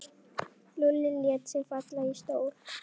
Lúlli lét sig falla í stól.